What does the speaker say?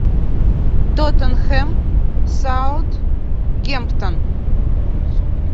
тоттенхэм саутгемптон